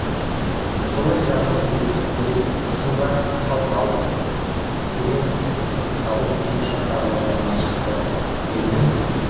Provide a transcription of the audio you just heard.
солай жаңылыс есіттім деп тұрсың ба халт алт деген дауыс неміс жақтағы орманнан шықты демнің